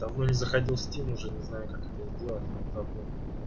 давно не заходил в стим уже не знаю как это сделать забыл